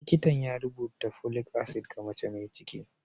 Likitan ya rubuta folic acid ga mace mai ciki.